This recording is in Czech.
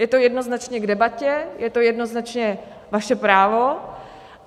Je to jednoznačně k debatě, je to jednoznačně vaše právo.